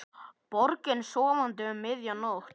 Borgin sofandi um miðja nótt.